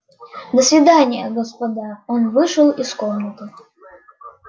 до свидания господа он вышел из комнаты